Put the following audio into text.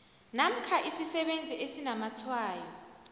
namkha isisebenzi esinamatshwayo